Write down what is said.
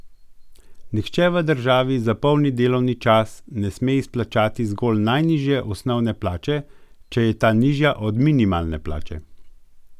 Nihče v državi za polni delovni čas ne sme izplačati zgolj najnižje osnovne plače, če je ta nižja od minimalne plače!